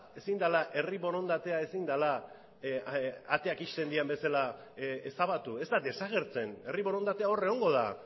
ezin dela herri borondatea ezin dela ateak ixten diren bezala ezabatu ez da desagertzen herri borondatea hor egongo da